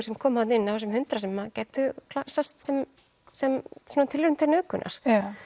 sem koma þarna inn af þessum hundrað sem gætu sest sem sem tilraun til nauðgunar